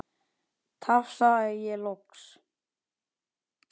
tafsa ég loks.